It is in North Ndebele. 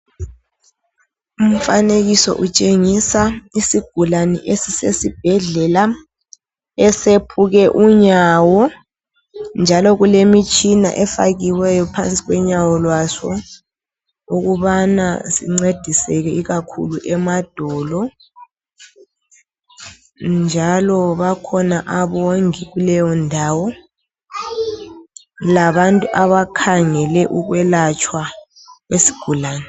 Umfanekiso utshengisa isigulane esisesibhedlela esephuke unyawo njalo kulemitshina efakiweyo phansi konyawo lwaso ukubana sincediseke ikakhulu emadolo njalo bakhona abongi kuleyo ndawo labantu abakhangele ukwelatshwa kwesigulane.